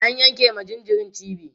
an yanke ma jinjirin cibi